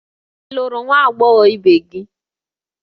Ị lụrụ nwa agbọghọ ibe gị?